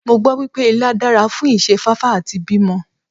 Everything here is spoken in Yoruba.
Mo gbọ́ wípé Ilá dára fún ìṣe fáfá àti bímọ.